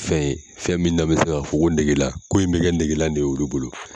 Fɛn in, fɛn min n'an bɛ se k'a fɔ ko negela, ko in bɛ kɛ negela de ye olu bolo.